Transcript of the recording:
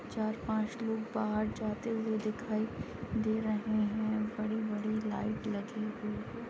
चार-पांच लोग बाहर जाते हुए दिखाई दे रहे हैं बड़ी-बड़ी लाइट लगी हुई है।